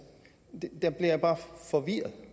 der bliver jeg bare forvirret